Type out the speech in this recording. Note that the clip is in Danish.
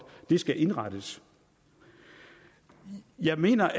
skal indrettes jeg mener